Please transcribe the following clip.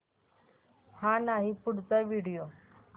हा नाही पुढचा व्हिडिओ